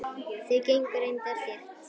Þau gengu reyndar þétt.